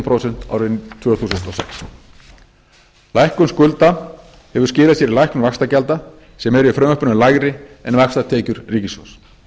prósent árið tvö þúsund og sex lækkun skulda hefur skilað sér í lækkun vaxtagjalda sem eru í frumvarpinu lægri en vaxtatekjur ríkissjóðs